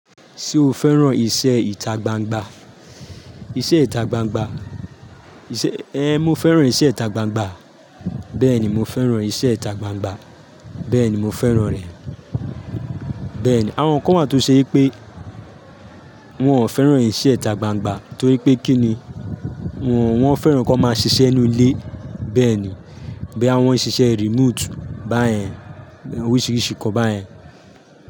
Ṣe o fẹ́ràn iṣẹ́ ìta gbangba? Iṣẹ́ ìta gbangba, mo fẹ́ràn iṣẹ́ ìta gbangba. Bẹ́ẹ̀ni mo fẹ́ràn iṣẹ́ ìta gbangba, bẹ́ẹ̀ni mo fẹ́ràn rẹ̀. Bẹ́ẹ̀ni àwọn kan wáa tó ṣe pé wọ́n ò fẹ́ràn iṣẹ́ ìta gbangba torí pé kí ni wọ́n fẹ́ràn kí wọ́n máa ṣiṣẹ́ nínú ilé bẹ́ẹ̀ni, bí àwọn ṣíṣe remote báyẹn oríṣiríṣi kan báyẹn.